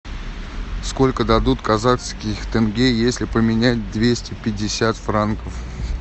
сколько дадут казахских тенге если поменять двести пятьдесят франков